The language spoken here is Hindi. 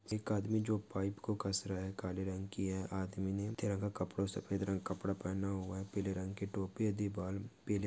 एक आदमी जो पाइप को घस रहा है काले रंग की है आदमीने पीला तिरंगा रंग कपड़ा सफ़ेद रंग कपड़ा पहना हुवा है। पीले रंग की टोपी यदि बाल पीले --